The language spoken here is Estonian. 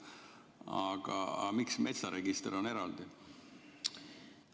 Aga miks metsaregister on eraldi?